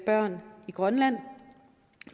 børn i grønland